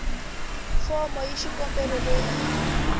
fomo ya xikombelo leyi yi